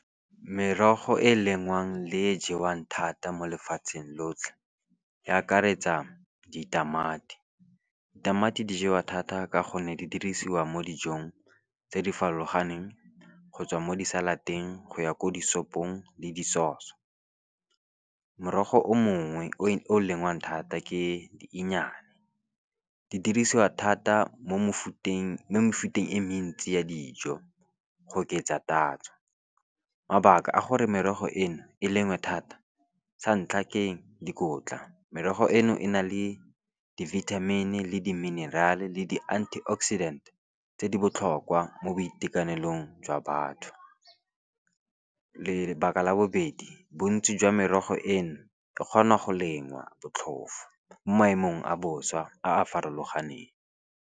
Merogo e e lengwang le e jewang thata mo lefatsheng lotlhe, e akaretsa ditamati ditamati di jewa thata ka gonne di dirisiwa mo dijong tse di farologaneng, gotswa mo di-salad-eng go ya ko di sopong le di-sause. Morogo o mongwe o lengwang thata ke di inyanyane, di dirisiwa thata mo mefuteng e mentsi ya dijo, go oketsa tatso. Mabaka a gore merogo eno e lengwe thata, sa ntlha ke dikotla, merogo eno e na le di-vitamin le di-mineral le di-antioxidant tse di botlhokwa mo boitekanelong jwa batho. Lebaka la bobedi, bontsi jwa merogo eno e kgona go lengwa botlhofo mo maemong a bosa a a farologaneng.